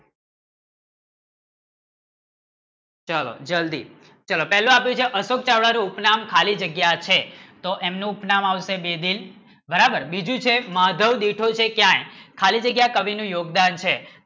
ચલો જલ્દી ચલો પેહલા અપ્લાઇડે અશોક ચાવડા નો ઉપ નામ ખાલી જગ્ય છે તો એમનો ઉપ નામ આવશે બેબીન બરાબર બીજું છે માધવ લેખ ક્યાં હૈ? ખાલી જગ્ય કવિ નો યોગદાન છે